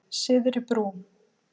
Syðri Brú